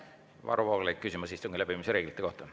Varro Vooglaid, küsimus istungi läbiviimise reeglite kohta.